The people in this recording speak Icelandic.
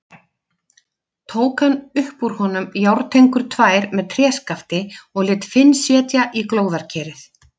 Tók hann upp úr honum járntengur tvær með tréskafti og lét Finn setja í glóðarkerið.